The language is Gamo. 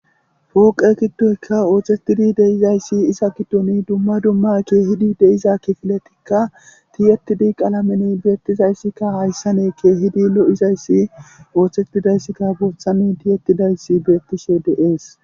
Fooqe giddoyka oothettidi de7izayssi iza giddoni dumma dumma keehidi de7iza kifiletikka ti7ettidi qalameni beettizayssika hayssan keehidi lo7izayssi othettidayssika boothan ti7ettidayssi beettishe dees.